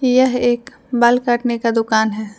यह एक बाल काटने का दुकान है।